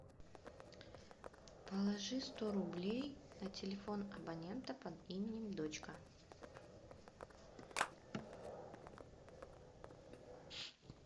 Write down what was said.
положи сто рублей на телефон абонента под именем дочка